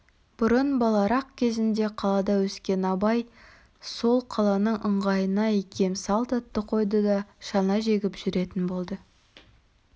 бұрын баларақ кезінде қалада өскен абай сол қаланың ыңғайына икем салт атты қойды да шана жегіп жүретін болды